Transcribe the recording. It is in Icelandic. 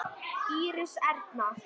Íris Erna.